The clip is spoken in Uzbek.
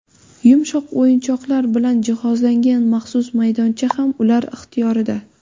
Yumshoq o‘yinchoqlar bilan jihozlangan maxsus maydoncha ham ular ixtiyorida.